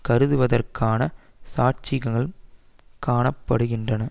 கருதுவதற்கான சாட்சியங்கள் காண படுகின்றன